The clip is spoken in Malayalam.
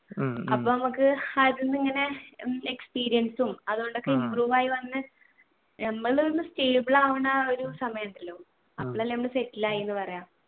ഉം അപ്പോ നമുക്ക് experience ഉം improve ആയി വന്നു ഞമ്മള് ഒന്ന് stable ആവണ ഒരു സമയമുണ്ടല്ലോ അപ്പളല്ലേ നമ്മൾ settle ആയി എന്ന് പറയുക